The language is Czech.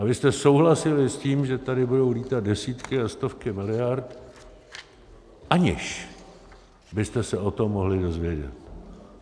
A vy jste souhlasili s tím, že tady budou lítat desítky a stovky miliard, aniž byste se o tom mohli dozvědět.